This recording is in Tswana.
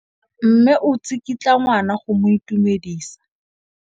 Mme o tsikitla ngwana go mo itumedisa.